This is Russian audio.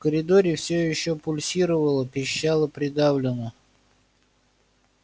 в коридоре все ещё пульсировало-пищало придавленно